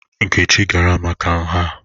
Nkechi gara maka nha?